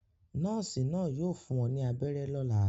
Nọ́ọ́sì náà yóò fún ọ ní abẹ́rẹ́ lọ́la.